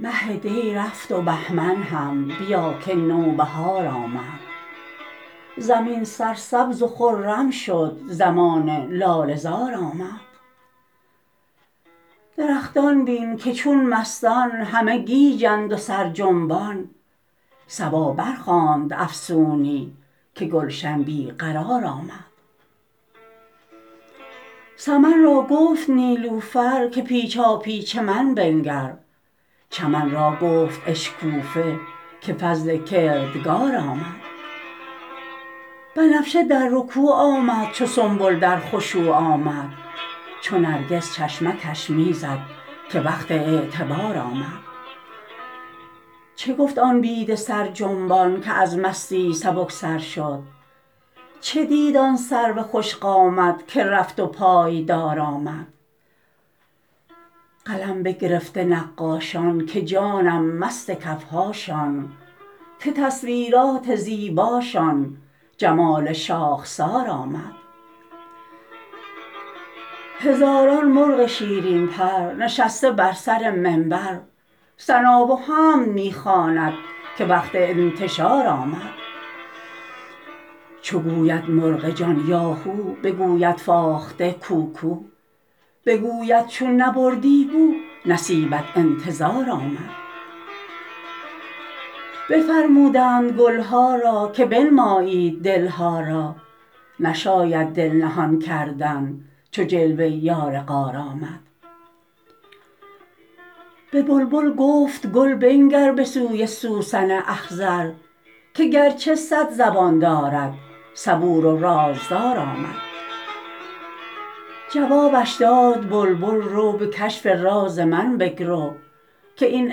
مه دی رفت و بهمن هم بیا که نوبهار آمد زمین سرسبز و خرم شد زمان لاله زار آمد درختان بین که چون مستان همه گیجند و سرجنبان صبا برخواند افسونی که گلشن بی قرار آمد سمن را گفت نیلوفر که پیچاپیچ من بنگر چمن را گفت اشکوفه که فضل کردگار آمد بنفشه در رکوع آمد چو سنبل در خشوع آمد چو نرگس چشمکش می زد که وقت اعتبار آمد چه گفت آن بید سرجنبان که از مستی سبک سر شد چه دید آن سرو خوش قامت که زفت و پایدار آمد قلم بگرفته نقاشان که جانم مست کف هاشان که تصویرات زیباشان جمال شاخسار آمد هزاران مرغ شیرین پر نشسته بر سر منبر ثنا و حمد می خواند که وقت انتشار آمد چو گوید مرغ جان یاهو بگوید فاخته کوکو بگوید چون نبردی بو نصیبت انتظار آمد بفرمودند گل ها را که بنمایید دل ها را نشاید دل نهان کردن چو جلوه یار غار آمد به بلبل گفت گل بنگر به سوی سوسن اخضر که گرچه صد زبان دارد صبور و رازدار آمد جوابش داد بلبل رو به کشف راز من بگرو که این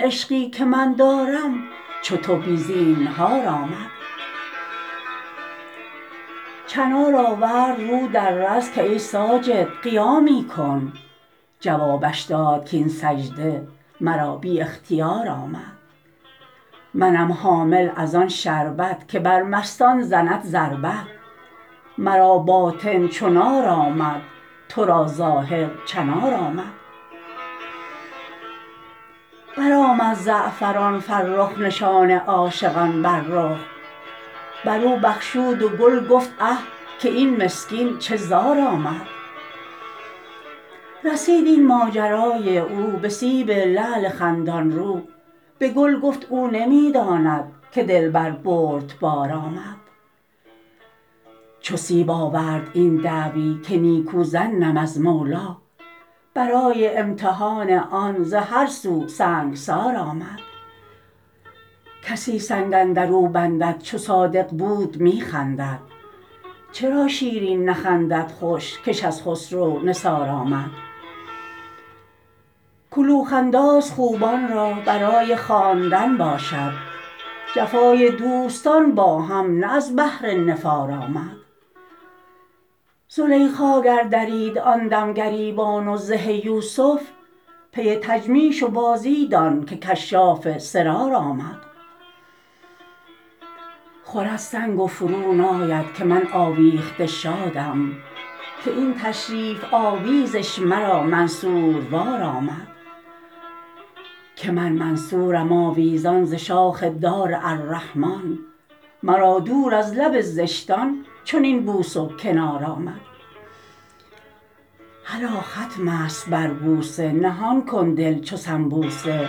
عشقی که من دارم چو تو بی زینهار آمد چنار آورد رو در رز که ای ساجد قیامی کن جوابش داد کاین سجده مرا بی اختیار آمد منم حامل از آن شربت که بر مستان زند ضربت مرا باطن چو نار آمد تو را ظاهر چنار آمد برآمد زعفران فرخ نشان عاشقان بر رخ بر او بخشود و گل گفت اه که این مسکین چه زار آمد رسید این ماجرای او به سیب لعل خندان رو به گل گفت او نمی داند که دلبر بردبار آمد چو سیب آورد این دعوی که نیکو ظنم از مولی برای امتحان آن ز هر سو سنگسار آمد کسی سنگ اندر او بندد چو صادق بود می خندد چرا شیرین نخندد خوش کش از خسرو نثار آمد کلوخ انداز خوبان را برای خواندن باشد جفای دوستان با هم نه از بهر نفار آمد زلیخا گر درید آن دم گریبان و زه یوسف پی تجمیش و بازی دان که کشاف سرار آمد خورد سنگ و فروناید که من آویخته شادم که این تشریف آویزش مرا منصوروار آمد که من منصورم آویزان ز شاخ دار الرحمان مرا دور از لب زشتان چنین بوس و کنار آمد هلا ختم است بر بوسه نهان کن دل چو سنبوسه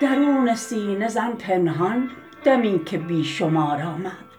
درون سینه زن پنهان دمی که بی شمار آمد